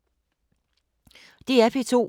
DR P2